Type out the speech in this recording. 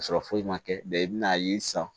Ka sɔrɔ foyi ma kɛ i bɛn'a ye sisan